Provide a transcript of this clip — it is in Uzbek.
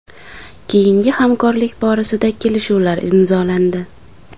Keyingi hamkorlik borasida kelishuvlar imzolandi.